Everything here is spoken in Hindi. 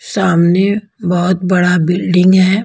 सामने बहुत बड़ा बिल्डिंग है।